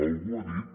algú ha dit